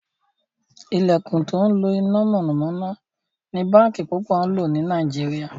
ilẹkùn tó ńlo iná mọ̀nàmọ́ná ní bánkì púpọ ló ní Nàìjíríà.